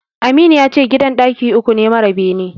Aminu yace gidan ɗaki uku ne mara bene.